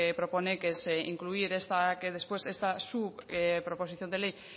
propone que es incluir que después esta su proposición de ley